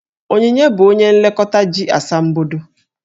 Onyinye bụ onye nlekọta ji asambodo.